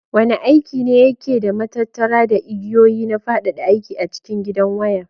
Wane aiki ne yake da matattara da igiyoyi na fadada aiki a cikin gidan waya?